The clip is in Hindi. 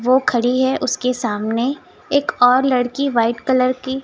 वो खड़ी है उसके सामने एक और लड़की व्हाइट कलर की--